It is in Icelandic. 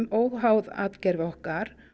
óháð atgervi okkar